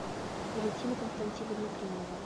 валентина константиновна климова